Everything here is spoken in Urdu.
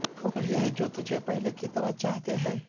ہم وہی ہیں جو تجھے پہلے کی طرح چاہتے ہیں